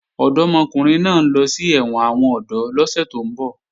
Ọ̀dọ́mọkùnrin náà ń lọ sí ẹ̀wọ̀n àwọn ọ̀dọ́ lọ́sẹ̀ tó ń bọ̀